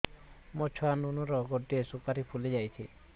ମୋ ଛୁଆ ନୁନୁ ର ଗଟେ ସୁପାରୀ ଫୁଲି ଯାଇଛି